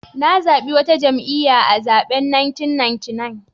Na zabi wata jam'iyya a zaben 1999.